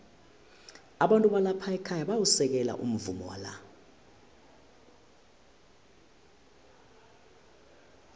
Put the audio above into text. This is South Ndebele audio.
abantu balapha ekhaya bayawusekela umvumo wala